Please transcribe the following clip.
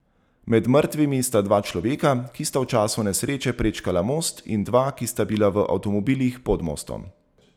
Med mrtvimi sta dva človeka, ki sta v času nesreče prečkala most, in dva, ki sta bila v avtomobilih pod mostom.